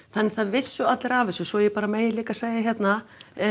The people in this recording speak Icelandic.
það vissu allir af þessu svo ég bara megi líka segja hérna